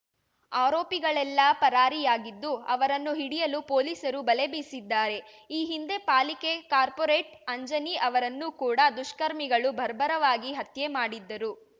ಆರೋಪಿಗಳೆಲ್ಲಾ ಪರಾರಿಯಾಗಿದ್ದು ಅವರನ್ನು ಹಿಡಿಯಲು ಪೊಲೀಸರು ಬಲೆ ಬೀಸಿದ್ದಾರೆ ಈ ಹಿಂದೆ ಪಾಲಿಕೆ ಕಾರ್ಪೋರೇಟ್ ಅಂಜಿನಿ ಅವರನ್ನು ಕೂಡ ದುಷ್ಕರ್ಮಿಗಳು ಬರ್ಬರವಾಗಿ ಹತ್ಯೆ ಮಾಡಿದ್ದರು